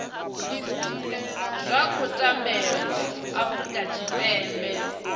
zwa khou tambelwa afurika tshipembe